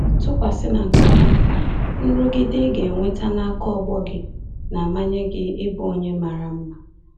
Tụkwasị na nke ahụ, nrụgide ị ga enweta n'aka ọgbọ gị na-amanye gị ịbụ onye mara mma.